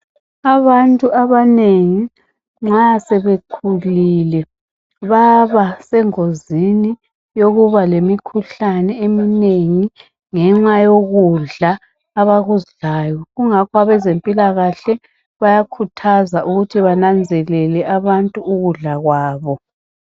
Abantu abanengi nxa sebekhulile baba sengozini yokuba lemikhuhlane eminengi ngenxa yokudla abakudlayo kungakho abazempilakahle bayakhuthaza ukuthi bananzelele abantu ukudla kwabo